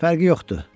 Fərqi yoxdur.